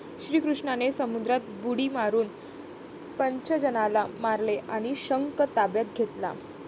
श्रीकृष्णाने समुद्रात बुडी मारून पंचजनाला मारले आणि शंख ताब्यात घेतला.